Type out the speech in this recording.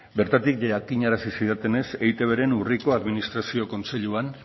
bertatik jakinarazi zidatenez eitbren urriko administrazio kontseiluan